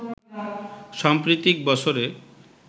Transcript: সাম্প্রতিক বছরে